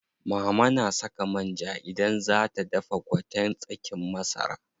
Mama na saka man ja idan zaa ta dafa gwaten tsakin masara.